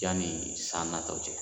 Yanni san natɔ cɛ